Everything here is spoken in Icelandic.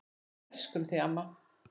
Við elskum þig amma.